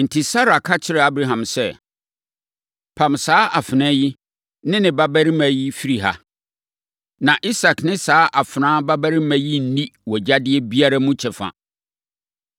Enti, Sara ka kyerɛɛ Abraham sɛ, “Pam saa afenaa yi ne ne babarima yi firi ha; na Isak ne saa afenaa babarima yi nni wʼagyadeɛ biara mu kyɛfa.”